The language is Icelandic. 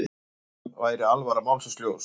Öllum væri alvara málsins ljós.